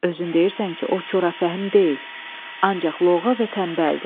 Özün deyirsən ki, o korafəhm deyil, ancaq loğğa və tənbəldir.